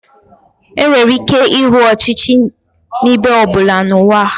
Enwere ike ịhụ ọchị ọchị n'ebe ọ bụla n'ụwa